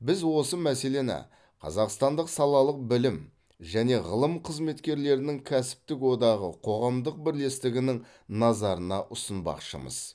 біз осы мәселені қазақстандық салалық білім және ғылым қызметкерлерінің кәсіптік одағы қоғамдық бірлестігінің назарына ұсынбақшымыз